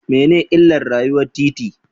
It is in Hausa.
Mene ne illar rayuwar titi?